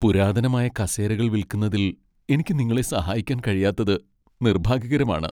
പുരാതനമായ കസേരകൾ വിൽക്കുന്നതിൽ എനിക്ക് നിങ്ങളെ സഹായിക്കാൻ കഴിയാത്തത് നിർഭാഗ്യകരമാണ്.